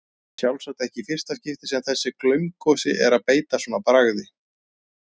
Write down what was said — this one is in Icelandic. Sjálfsagt ekki í fyrsta skipti sem þessi glaumgosi er að beita svona bragði.